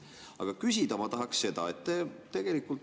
Aga küsida ma tahaksin seda.